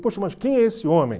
Poxa, mas quem é esse homem?